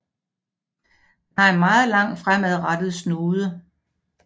Den har en meget lang fremadrettet snude